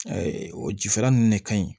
o jifara ninnu de ka ɲi